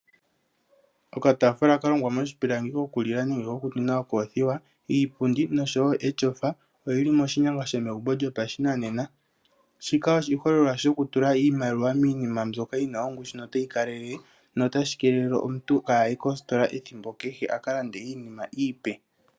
Okataafula kalongwa moshipilangi kokulila nenge ko kumwina okoofiwa ,iipundi noshowo eshofa oyili moshinyanga shomegumbo lyo pashinanena shika oshiholelwa shoku tula iimaliwa miinima mbyoka yina ongushu no tayi kalelele notashi keelele omuntu kaaye kositola ethimbo kehe akalande iinima iipe.